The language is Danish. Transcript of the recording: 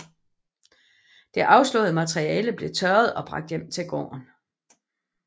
Det afslåede materiale blev tørret og bragt hjem til gården